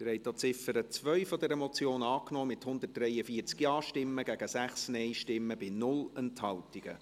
Sie haben auch die Ziffer 2 dieser Motion angenommen, mit 143 Ja- gegen 6 Nein-Stimmen bei 0 Enthaltungen.